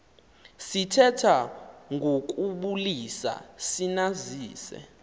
sithetha ngokubulisa sinazise